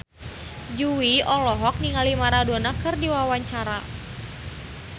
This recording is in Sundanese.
Jui olohok ningali Maradona keur diwawancara